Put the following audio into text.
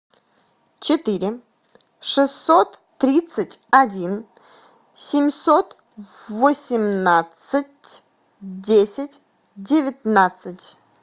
четыре шестьсот тридцать один семьсот восемнадцать десять девятнадцать